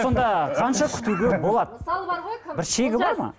сонда қанша күтуге болады мысалы бар ғой кім бір шегі бар ма